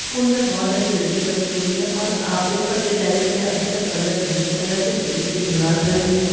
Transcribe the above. school में बहुत सारी खिड़की बनी हुई है और ऊपर के टेरेस पे अभी तक कलर नहीं किया गया है| सिर्फ इंटें की दीवार खड़ी हुई नज़र--